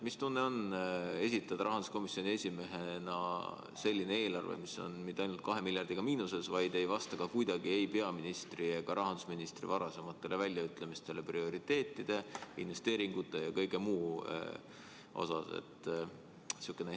Mis tunne on esitada rahanduskomisjoni esimehena selline eelarve, mis ei ole mitte ainult 2 miljardiga miinuses, vaid ei vasta ka kuidagi ei peaministri ega rahandusministri varasematele väljaütlemistele prioriteetide, investeeringute ja kõige muu kohta?